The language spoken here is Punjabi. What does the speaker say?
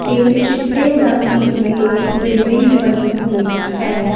ਤੇ ਚਿੱਟੇ ਰੰਗ ਦੀ ਏ ਬਿਲਡਿੰਗ ਬਣੀ ਹੋਈ ਹੈ।